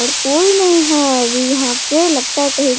और कोई नहीं है अभी यहाँ पे लगता है कहीं --